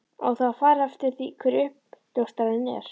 Á það að fara eftir því hver uppljóstrarinn er?